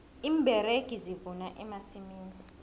iimberegi zivuna emasimini